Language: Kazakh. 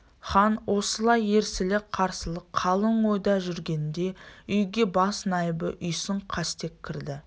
хан осылай ерсілі-қарсылы қалың ойда жүргенінде үйге бас найыбы үйсін қастек кірді